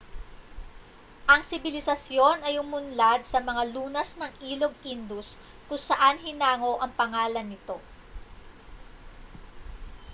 ang sibilisasyon ay umunlad sa mga lunas ng ilog indus kung saan hinango ang pangalan nito